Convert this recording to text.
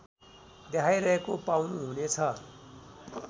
देखाइरहेको पाउनुहुनेछ